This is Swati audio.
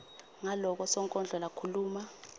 ngaloko sonkondlo lakhuluma